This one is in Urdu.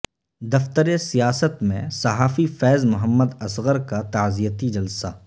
دفتر سیاست میں صحافی فیض محمد اصغر کا تعزیتی جلسہ